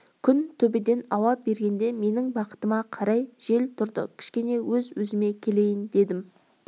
күн төбеден ауа бергенде менің бақытыма қарай жел тұрды кішкене өз-өзіме келейін дедім